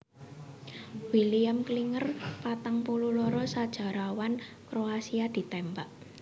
William Klinger patang puluh loro sajarawan Kroasia ditémbak